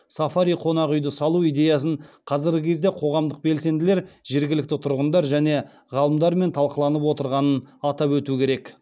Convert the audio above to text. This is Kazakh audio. сафари қонақүйді салу идеясын қазіргі кезде қоғамдық белсенділер жергілікті тұрғындар және ғалымдармен талқыланып отырғанын атап өту керек